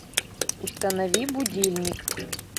установи будильник